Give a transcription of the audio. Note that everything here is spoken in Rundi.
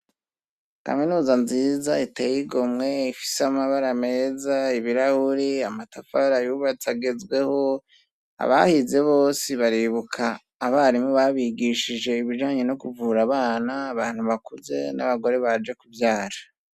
Kaminuza nziza iteye igomwe ifise amabara meza, ibirahuri, amatafari ayubatse agezweho, abahize bose baribuka abarimu babigishije ibijanye no kuvura abana, abantu bakuze, n'abagore baje kuvyara.